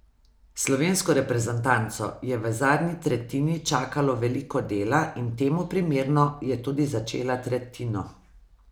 Slovensko reprezentanco je v zadnji tretjini čakalo veliko dela in temu primerno je tudi začela tretjino.